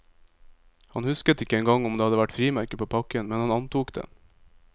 Han husket ikke engang om det hadde vært frimerker på pakken, men han antok det.